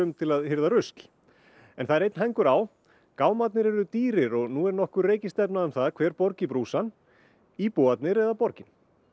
til að hirða rusl en það er hængur á gámarnir eru dýrir og nú er nokkur reikistefna um það hver borgi brúsann íbúarnir eða borgin